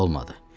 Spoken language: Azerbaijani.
Olmadı.